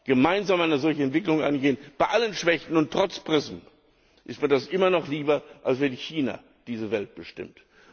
gemeinsam eine solche Entwicklung angehen, bei allen Schwächen und trotz PRISM, ist mir das immer noch lieber, als wenn China diese Welt bestimmt.